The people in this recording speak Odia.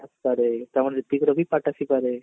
ଆରେ ତାହେଲେ ହିର୍ତ୍ଵିକ ର ବି part ଆସିପାରେ